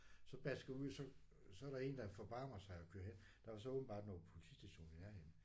Så basker ud så så er der en der forbarmer sig og kører hen der var så åbenbart noget politistation i nærheden